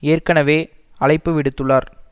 ஏற்கனவே அழைப்பு விடுத்துள்ளார்